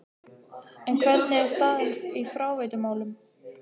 En hvernig er staðan í fráveitumálum?